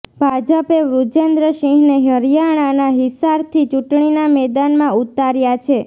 ભાજપે વૃજેન્દ્ર સિંહને હરિયાણાના હિસારથી ચૂંટણીના મેદાનમાં ઉતાર્યા છે